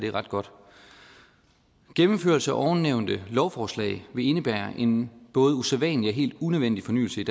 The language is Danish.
er ret godt gennemførelse af ovennævnte lovforslag vil indebære en både usædvanlig og helt unødvendig fornyelse i